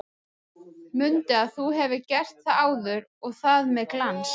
Mundu að þú hefur gert það áður og það með glans!